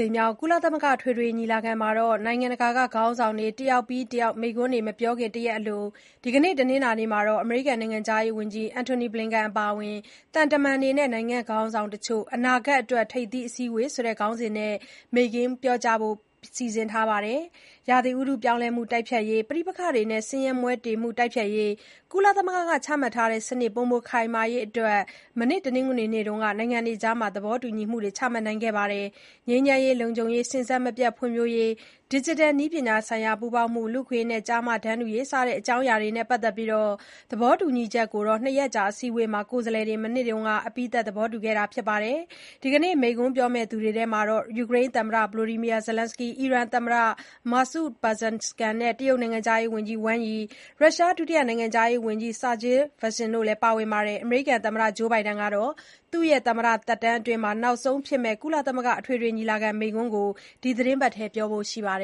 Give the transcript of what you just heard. ိမ်မြောက် ကုလသမဂ္ဂ အထွေထွေညီလာခံမှာ နိုင်ငံတကာ ခေါင်းဆောင်တွေ တယောက်ပြီးတယောက် မိန့်ခွန်းတွေ မပြောခင် တရက်အလို ဒီကနေ့ တနင်္လာနေ့မှာ အမေရိကန် နိုင်ငံခြားရေးဝန်ကြီး Antony Blinken အပါအဝင် သံတမန်တွေနဲ့ နိုင်ငံခေါင်းဆောင်တချို့ “အနာဂတ်အတွက် ထိပ်သီးအစည်းအဝေး” ဆိုတဲ့ ခေါင်းစဉ်နဲ့ မိန့်ခွန်း ပြောကြားဖို့ စီစဉ်ထားပါတယ်။ ရာသီဥတု ပြောင်းလဲမှု တိုက်ဖျက်ရေး၊ ပဋိပက္ခတွေနဲ့ ဆင်းရဲမွဲတေမှု တိုက်ဖျက်ရေး၊ ကုလသမဂ္ဂက ချမှတ်ထားတဲ့ စနစ် ပိုမိုခိုင်မာရေး အတွက် မနေ့ တနင်္ဂနွေနေ့က နိုင်ငံတွေအကြား သဘောတူညီမှုတွေ ချမှတ်ခဲ့ပါတယ်။ ငြိမ်းချမ်းရေး၊ လုံခြုံရေး၊ စဉ်ဆက်မပြတ် ဖွံ့ဖြိုးရေး၊ ဒီဂျစ်တယ်နည်းပညာဆိုင်ရာ ပူးပေါင်းမှု၊ လူ့အခွင့်အရေးနဲ့ ကျားမတန်းတူရေး စတဲ့ အကြောင်းအရာတွေနဲ့ ပတ်သက်ပြီး အနာဂတ်အတွက် သဘောတူညီချက်ကို နှစ်ရက်ကြာ အစည်းအဝေးမှာ ကိုယ်စားလှယ်တွေ မနေ့က အပြီးသတ် သဘောတူခဲ့ပါတယ်။ ဒီနေ့ မိန့်ခွန်းပြောမယ့်သူတွေမှာ ယူကရိန်း သမ္မတ Volodymyr Zelenskyy၊ အီရန် သမ္မတသစ် Masoud Pezeshkian။ တရုတ် နိုင်ငံခြားရေးဝန်ကြီး Wang Yi နဲ့ ရုရှား ဒုတိယ နိုင်ငံခြားရေးဝန်ကြီး Sergey Vershinin တို့လည်း ပါဝင်ပါတယ်။ အမေရိကန် သမ္မတ Joe Biden ကလည်း သူ့ရဲ့ သမ္မတသက်တမ်းအတွင်း နောက်ဆုံးဖြစ်မယ့် ကုလသမဂ္ဂအထွေထွေညီလာခံမိန့်ခွန်းကို ဒီသတင်းပတ်အတွင်း ပြောဖို့ရှိတာပါ